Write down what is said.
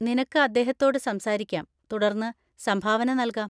നിനക്ക് അദ്ദേഹത്തോട് സംസാരിക്കാം, തുടർന്ന് സംഭാവന നൽകാം.